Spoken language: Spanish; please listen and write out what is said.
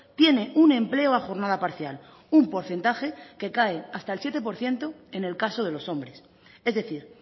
tiene un empleo a jornada parcial un porcentaje que cae hasta el siete por ciento en el caso de los hombres es decir